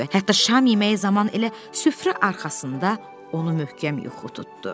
Hətta şam yeməyi zamanı elə süfrə arxasında onu möhkəm yuxu tutdu.